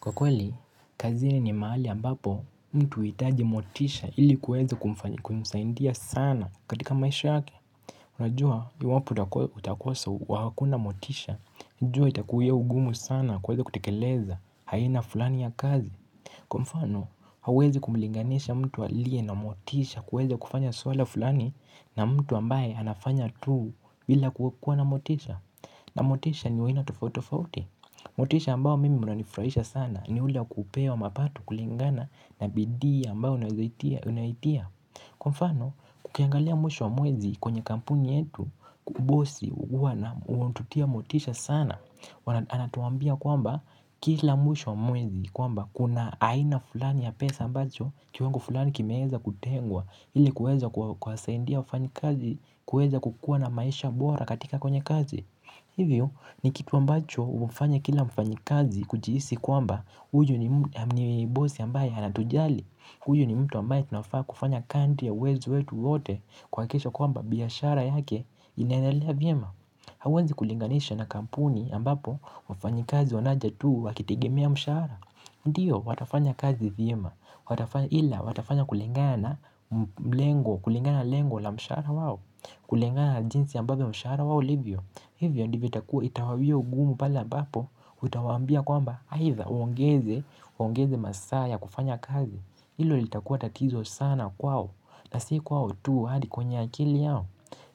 Kwa kweli kazini mahali ambapo mtu uhitaji motisha ili kuweza kumsaidia sana katika maisha yake. Unajua iwapo hakuna motisha jua itakuwa ugumu sana kuweze kutekeleza haina fulani ya kazi. Kwa mfano hauwezi kumlinganisha mtu aliye na motisha kuweza kufanya swala fulani na mtu ambaye anafanya tuu bila kuwa na motisha na motisha ni wa haina tofauti tofauti. Motisha ambao mimi unanifrahisha sana ni hule wa kupewa mapato kulingana na bidii ambao unaitia. Kwa mfano ukiangalia mwisho wa mwezi kwenye kampuni yetu bosi huwa anatutia motisha sana. Anatuambia kwamba kila mwisho wa mwezi kwamba kuna haina fulani ya pesa ambacho kiwango fulani kimeweza kutengwa ili kuweza kuwasaidia wafanyakazi kuweza kukuwa na maisha bora katika kwenye kazi. Hivyo ni kitu ambacho ufanya kila mfanyikazi kujihisi kwamba huyu ni bosi ambaye anatujali huyu ni mtu ambaye tunafaa kufanya kadri ya uwezo wetu wote kuhakisha kwamba biashara yake inaendelea vyema hauwezi kulinganisha na kampuni ambapo wafanyakazi wanakaa tu wakitegemea mshahara. Ndiyo watafanya kazi vyema ila watafanya kulingana lengo la mshahara wao. Kulingana la jinsi ambavyo mshahara wao ulivyo hivyo ndivyo itawawia ugumu pala ambapo utawambia kwamba haidha waongeze masaa ya kufanya kazi. Ilo litakua tatizo sana kwao na si kwao tu hadi kwenye akili yao.